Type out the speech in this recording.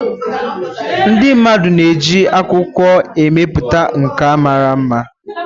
Ndị mmadụ na eji akwụkwọ emepụta nkà mara mma.